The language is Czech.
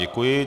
Děkuji.